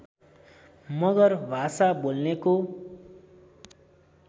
मगर भाषा बोल्नेको